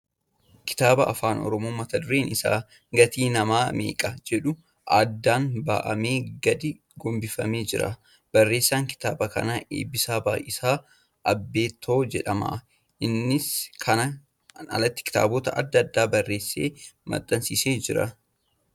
Kitaaba Afaan Oromoo mata dureen isaa ' Gatiin Namaa Meeqa ' jedhu addaan banamee gadi gombifamee jira. Barreessa kitaaba kanaa Eebbisaa Baay'isaa Abeetoo jedhama . Innis kanaan alatti kitaabota adda addaa barreessee maxxansiisee jira.